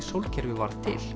sólkerfisins